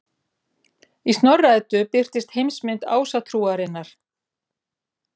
Í Snorra-Eddu birtist heimsmynd Ásatrúarinnar.